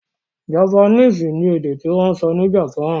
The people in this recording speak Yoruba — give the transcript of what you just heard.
Japanese ni èdè tí wọ́n ń sọ ní Japan.